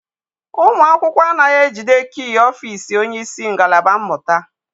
Ụmụ akwụkwọ anaghị ejide kii ọfịịsi onyeisi ngalaba mmụta.